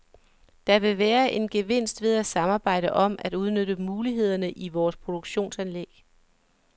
Der vil være en gevinst ved at samarbejde om at udnytte mulighederne i vores produktionsanlæg.